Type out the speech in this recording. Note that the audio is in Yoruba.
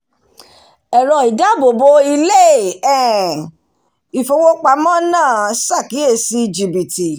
ẹ̀rọ ìdáàbòbò ilé um ìfówópamọ́ náà sàkíyèsí jìbìtì